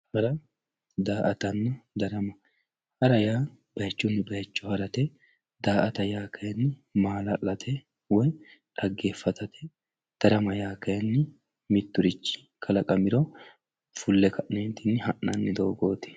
Hara, daa'atanna, darama, hara yaa bayichuni bayicho harate, daa'atta yaa kayinni maalalate woyi xageefatatte, darama yaa kayinni miturichi kalaqamiro fu'le ka'ne ha'nanni doogoti